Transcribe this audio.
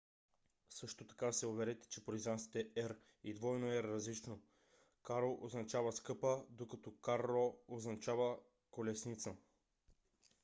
също така се уверете че произнасяте r и rr различно: caro означава скъпа докато carro означава колесница